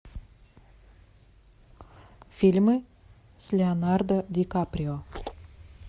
фильмы с леонардо ди каприо